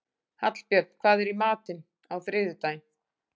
Hallbjörn, hvað er í matinn á þriðjudaginn?